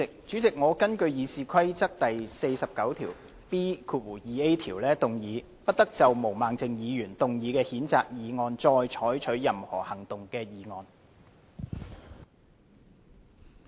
主席，我根據《議事規則》第 49B 條，動議"不得就毛孟靜議員動議的譴責議案再採取任何行動"的議案。